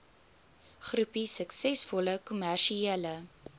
groepie suksesvolle kommersiële